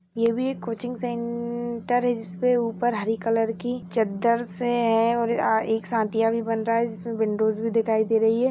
ये भी coaching centre है जिसके ऊपर हरी कलर की चद्दर से है और एक भी बन रहा है जिसमें विंडोज भी दिखाई दे रही है।